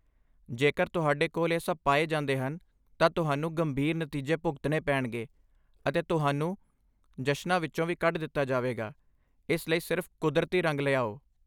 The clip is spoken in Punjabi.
ਜੇਕਰ ਤੁਹਾਡੇ ਕੋਲ ਇਹ ਸਭ ਪਾਏ ਜਾਂਦੇ ਹਨ, ਤਾਂ ਤੁਹਾਨੂੰ ਗੰਭੀਰ ਨਤੀਜੇ ਭੁਗਤਣੇ ਪੈਣਗੇ ਅਤੇ ਤੁਹਾਨੂੰ ਜਸ਼ਨਾਂ ਵਿੱਚੋਂ ਵੀ ਕੱਢ ਦਿੱਤਾ ਜਾਵੇਗਾ, ਇਸ ਲਈ ਸਿਰਫ ਕੁਦਰਤੀ ਰੰਗ ਲਿਆਓ!